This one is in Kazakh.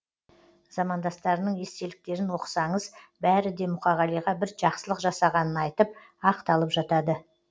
замандастарының естеліктерін оқысаңыз бәрі де мұқағалиға бір жақсылық жасағанын айтып ақталып жатады